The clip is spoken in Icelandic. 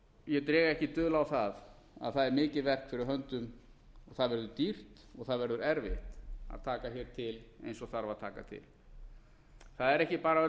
ég dreg ekki dul á að það er mikið verk fyrir höndum það verður dýrt og það verður erfitt að taka til eins og þarf að taka til það er ekki bara öll